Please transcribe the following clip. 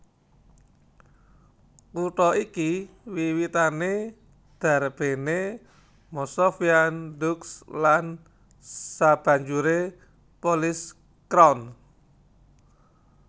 Kutha iki wiwitané darbéné Masovian Dukes lan sabanjuré Polish crown